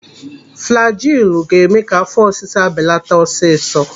Flajilu ga-eme ka afọ ọsịsa belata ọsịsọ.